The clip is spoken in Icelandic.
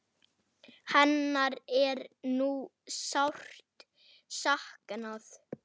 Hennar er nú sárt saknað.